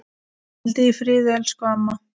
Hvíldu í friði elsku amma.